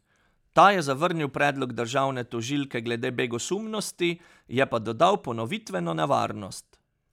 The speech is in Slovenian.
Ta je zavrnil predlog državne tožilke glede begosumnosti, je pa dodal ponovitveno nevarnost.